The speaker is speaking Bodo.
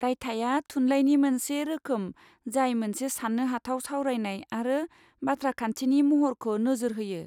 रायथाइया थुनलाइनि मोनसे रोखोम जाय मोनसे सान्नो हाथाव सावरायनाय आरो बाथ्राखान्थिनि महरखो नोजोर होयो।